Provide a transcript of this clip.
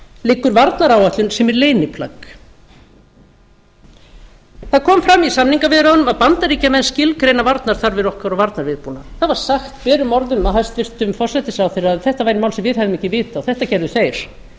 liggur varnaráætlun sem er leyniplagg það kom fram í samningaviðræðunum að bandaríkjamenn skilgreina varnarþarfir okkar og varnarviðbúnað það var sagt berum orðum af hæstvirtum forsætisráðherra að þetta væri mál sem við hefðum ekki vit á þetta gerðu þeir